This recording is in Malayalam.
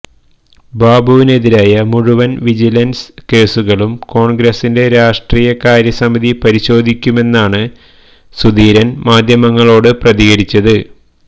ബാബുവിനെതിരായ മുഴുവന് വിജിലന്സ് കേസുകളും കോണ്ഗ്രസിന്റെ രാഷ്ട്രീയകാര്യ സമിതി പരിശോധിക്കുമെന്നാണ് സുധീരന് മാധ്യമങ്ങളോട് പ്രതികരിച്ചത്